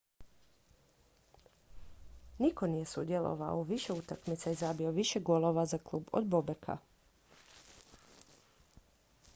nitko nije sudjelovao u više utakmica i zabio više golova za klub od bobeka